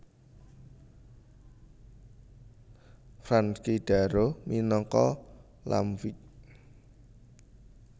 Frankie Darro minangka Lampwick